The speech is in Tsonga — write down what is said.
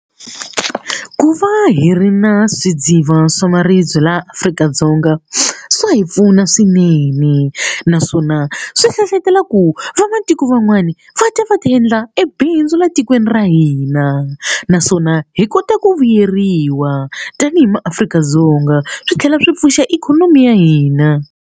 Ku va hi ri na swidziva swa maribye laha Afrika-Dzonga swa hi pfuna swinene naswona swi hlohletela ku vamatiko van'wana vana va ta va ta endla ebindzu laha tikweni ra hina naswona hi kota ku vuyeriwa tanihi maAfrika-Dzonga swi tlhela swi pfuxa ikhonomi ya hina.